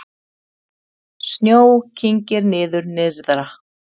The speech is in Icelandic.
Snjó kyngir niður nyrðra